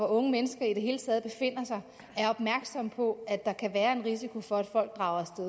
unge mennesker i det hele taget befinder sig er opmærksomme på at der kan være en risiko for at folk drager af